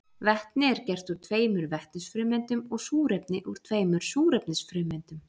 Vetni er gert úr tveimur vetnisfrumeindum og súrefni úr tveimur súrefnisfrumeindum.